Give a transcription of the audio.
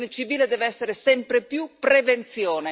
Protezione civile deve essere sempre più prevenzione.